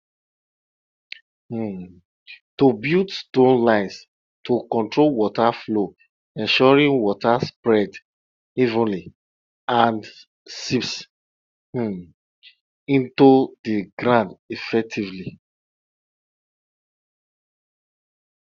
um to build stone lines to control water flow ensuring water spreads evenly and seeps um into the ground effectively